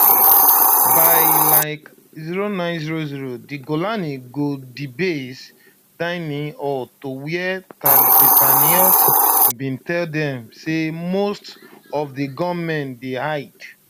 by like0900 di golani go di base dining hall to wia tatzpitaniyot bin tell dem say most of di gunmen dey hide